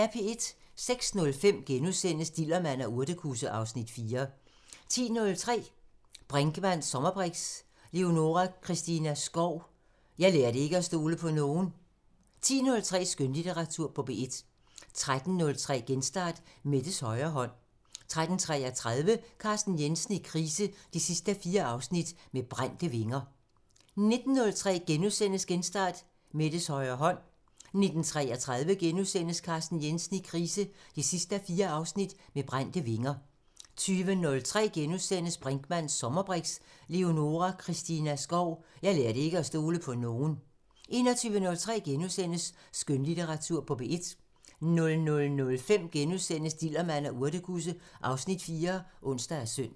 06:05: Dillermand og urtekusse (Afs. 4)* 10:03: Brinkmanns sommerbriks: Leonora Christina Skov – Jeg lærte ikke at stole på nogen 11:03: Skønlitteratur på P1 13:03: Genstart: Mettes højre hånd 13:33: Carsten Jensen i krise 4:4 – Med brændte vinger 19:03: Genstart: Mettes højre hånd * 19:33: Carsten Jensen i krise 4:4 – Med brændte vinger * 20:03: Brinkmanns sommerbriks: Leonora Christina Skov – Jeg lærte ikke at stole på nogen * 21:03: Skønlitteratur på P1 * 00:05: Dillermand og urtekusse (Afs. 4)*(ons og søn)